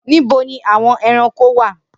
Nibo ni awọn ẹranko wa?